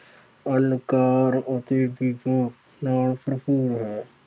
ਅਲੰਕਾਰ ਅਤੇ ਨਾਲ ਭਰਪੂਰ ਹੈ।